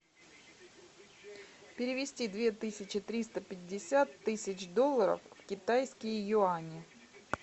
перевести две тысячи триста пятьдесят тысяч долларов в китайские юани